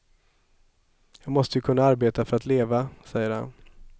Jag måste ju kunna arbeta för att leva, säger han.